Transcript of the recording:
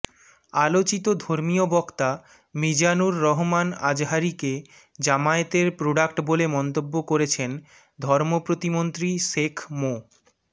আলোচিত ধর্মীয় বক্তা মিজানুর রহমান আজহারীকে জামায়াতের প্রোডাক্ট বলে মন্তব্য করেছেন ধর্ম প্রতিমন্ত্রী শেখ মো